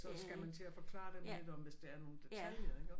Så skal man til at forklare dem lidt om hvis der er nogle detaljer iggå